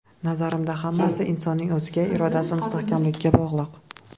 Nazarimda hammasi insonning o‘ziga, irodasi mustahkamligiga bog‘liq.